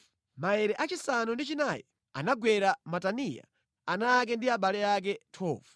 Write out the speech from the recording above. Maere achisanu ndi chinayi anagwera Mataniya, ana ake ndi abale ake. 12